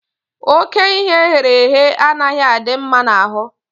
Ókè ihe eghere eghe anaghị adị mma n'ahụ